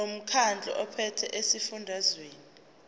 lomkhandlu ophethe esifundazweni